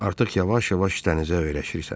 Artıq yavaş-yavaş dənizə öyrəşirsən.